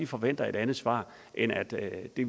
forventer et andet svar end at